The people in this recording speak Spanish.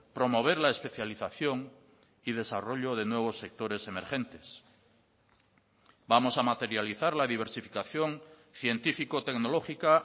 promover la especialización y desarrollo de nuevos sectores emergentes vamos a materializar la diversificación científico tecnológica